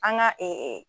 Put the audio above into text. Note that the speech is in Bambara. An ga